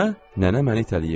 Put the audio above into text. Nənə məni itələyirdi.